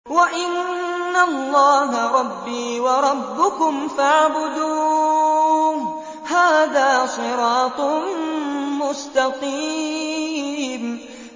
وَإِنَّ اللَّهَ رَبِّي وَرَبُّكُمْ فَاعْبُدُوهُ ۚ هَٰذَا صِرَاطٌ مُّسْتَقِيمٌ